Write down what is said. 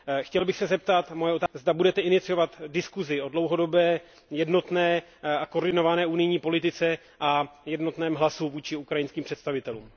Chtěl bych se zeptat, zda budete iniciovat diskusi o dlouhodobé, jednotné a koordinované unijní politice a o jednotném hlasu vůči ukrajinským představitelům?